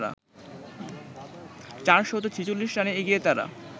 ৪৪৬ রানে এগিয়ে তারা